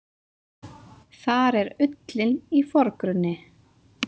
Þar er ullin í forgrunni.